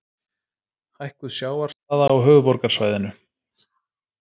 Hækkuð sjávarstaða á höfuðborgarsvæðinu.